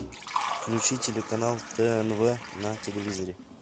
включи телеканал тнв на телевизоре